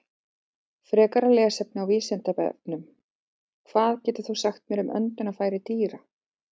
Frekara lesefni á Vísindavefnum: Hvað getur þú sagt mér um öndunarfæri dýra?